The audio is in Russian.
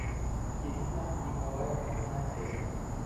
ирина николаевна надеждина